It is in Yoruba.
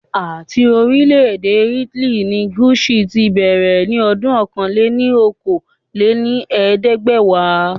Ati orilẹ ede Italy ni Gucci ti bẹrẹ ni ọdún ọ̀kan-lé-ní-okòó lé ní ẹ̀ẹ́dẹ́gbẹ́wa